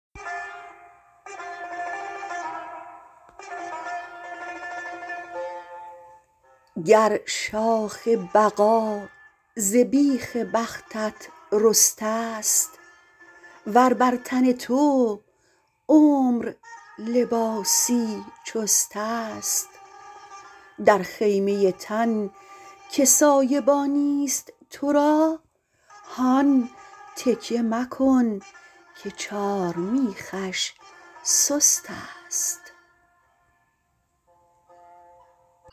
گر شاخ بقا ز بیخ بختت رسته ست ور بر تن تو عمر لباسی چست است در خیمه تن که سایبانی ست تو را هان تکیه مکن که چارمیخش سست است